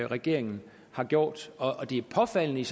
regeringen har gjort og det er påfaldende